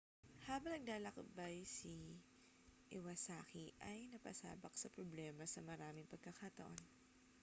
habang naglalakbay si iwasaki ay napasabak sa problema sa maraming pagkakataon